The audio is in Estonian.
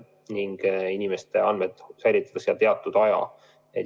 Inimeste andmed säilitatakse seal teatud aja.